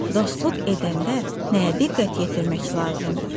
Dostluq edəndə nəyə diqqət yetirmək lazımdır?